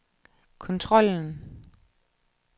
kontrollen